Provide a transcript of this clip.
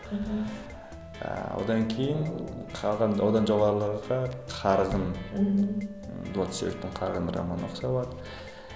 ыыы одан кейін қалған одан жоғарыларға қарғын мхм ы дулат исабековтың қарғын романын оқыса болады